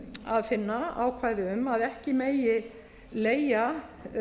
að finna ákvæði um að ekki megi leigja